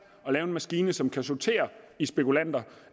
at lave en maskine som kan sortere i spekulanter